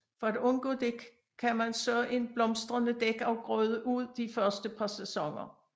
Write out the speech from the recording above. For at undgå det kan man så en blomstrende dækafgrøde ud de første par sæsoner